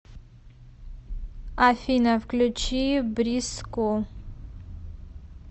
афина включи бриску